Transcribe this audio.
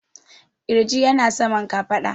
ƙirji yana saman kafaɗa